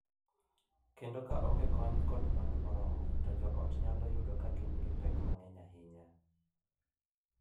Kendo ka onge kony kod mwandu moromo, jo ot nyalo yudo ka gin gi pek mang’eny ahinya.